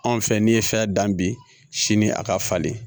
Anw fɛ n'i ye fɛn dan bi sini a ka falen